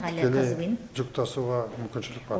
тікелей жүк тасуға мүмкіншілік бар